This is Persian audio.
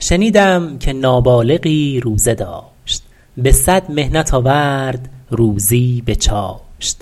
شنیدم که نابالغی روزه داشت به صد محنت آورد روزی به چاشت